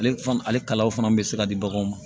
Ale fana ale kalaw fana bɛ se ka di baganw ma